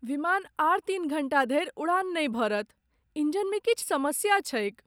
विमान आर तीन घण्टा धरि उड़ान नहि भरत। इंजनमे किछु समस्या छैक ।